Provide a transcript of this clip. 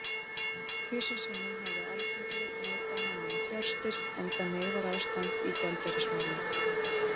Tvisvar sinnum hafði Alþingi neitað henni um fjárstyrk, enda neyðarástand í gjaldeyrismálum.